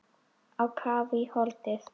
Á kaf í holdið.